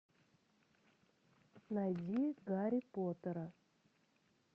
найди гарри поттера